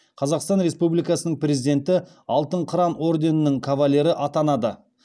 қазақстан республикасының президенті алтын қыран орденінің кавалері атанады